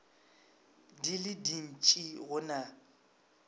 di le dintši go na